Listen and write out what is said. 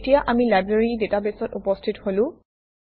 এতিয়া আমি লাইব্ৰেৰী ডাটাবেছত উপস্থিত হলো